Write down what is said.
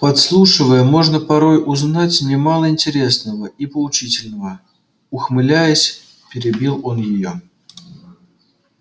подслушивая можно порой узнать немало интересного и поучительного ухмыляясь перебил он её